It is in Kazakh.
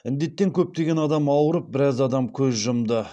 індеттен көптеген адам ауырып біраз адам көз жұмды